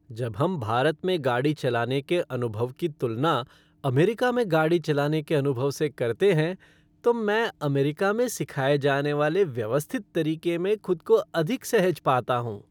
जब हम भारत में गाड़ी चलाने के अनुभव की तुलना अमेरिका में गाड़ी चलाने के अनुभव से करते हैं, तो मैं अमेरिका में सिखाए जाने वाले व्यवस्थित तरीके में खुद को अधिक सहज पाता हूँ।